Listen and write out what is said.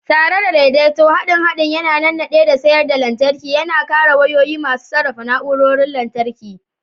Tare da daidaito, haɗin haɗin yana nannade da siyar da lantarki, yana kare wayoyi masu sarrafa na'urorin lantarki.